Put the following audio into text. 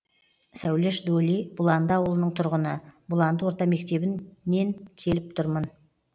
сәулеш доли бұланды ауылының тұрғыны бұланды орта мектебінен келіп тұрмын